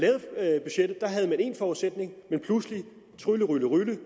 én forudsætning men pludselig trylleryllerylle